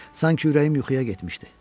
Sanki ürəyim yuxuya getmişdi.